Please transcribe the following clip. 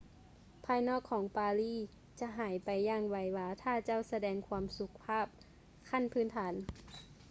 ພາຍນອກຂອງປາຣີຈະຫາຍໄປຢ່າງໄວວາຖ້າເຈົ້າສະແດງຄວາມສຸພາບຂັ້ນພື້ນຖານ